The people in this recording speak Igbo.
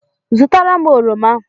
zụtara m oroma